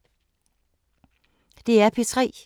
DR P3